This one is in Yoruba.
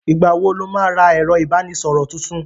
Ìgbà wo lo má lọ ra ẹ̀rọ ìbánísọ̀rọ̀ tuntun?